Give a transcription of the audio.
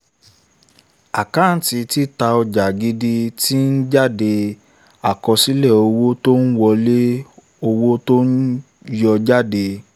àkáńtì títà ojà gidi ti ń jáde àkọsílẹ̀ owó tó wọlé owó tí yóò jáde p